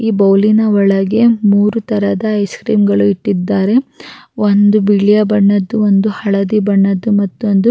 ಈ ಬೌಲಿನ ಒಳಗೆ ಮೂರೂ ತರದ ಐಸ್ ಕ್ರೀಮ್ ಗಳು ಇಟ್ಟಿದ್ದಾರೆ ಒಂದು ಬಿಳಿಯ ಬಣ್ಣದ್ದು ಒಂದು ಹಳದಿ ಬಣ್ಣದ್ದು ಮತ್ತ್ತೊಂದು--